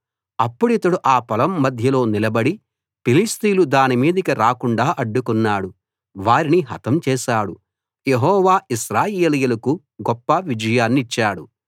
అప్పుడితడు ఆ పొలం మధ్యలో నిలబడి ఫిలిష్తీయులు దాని మీదికి రాకుండా అడ్డుకున్నాడు వారిని హతం చేశాడు యెహోవా ఇశ్రాయేలీయులకు గొప్ప విజయాన్నిచ్చాడు